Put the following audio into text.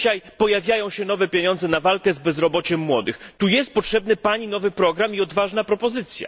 Dzisiaj pojawiają się nowe pieniądze na walkę z bezrobociem młodych, tu jest potrzebny Pani nowy program i odważna propozycja.